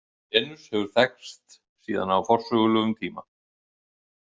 Venus hefur þekkst síðan á forsögulegum tíma.